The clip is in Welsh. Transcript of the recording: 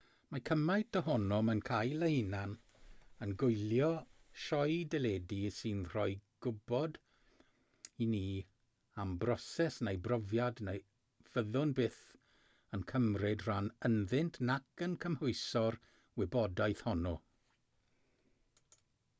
mae cymaint ohonom yn cael ei hunain yn gwylio sioe deledu sy'n rhoi gwybod i ni am broses neu brofiad na fyddwn byth yn cymryd rhan ynddynt nac yn cymhwyso'r wybodaeth honno